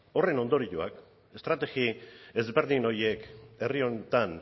horren ondorioak estrategia ezberdin horiek herri honetan